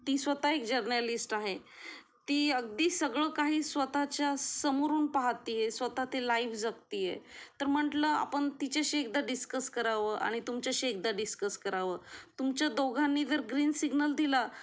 ती स्वतः जर्नलिस्ट आहे ती अगदी सगळं काही स्वतः चा समोरून पाहतीये स्वतः ते लाईव्ह जागतिये तर म्हंटलं आपण तिच्याशी एकदा डिस्कस कराव आणि तुमच्या शी एकदा डिस्कस करावं तुमच्या दोघांनी जर ग्रीन सिग्नल दिला